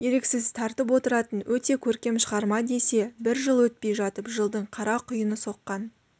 еріксіз тартып отыратын өте көркем шығарма десе бір жыл өтпей жатып жылдың қара құйыны соққан